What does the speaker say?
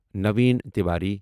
Naveen Tiwari